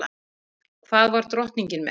Hvað var drottningin með?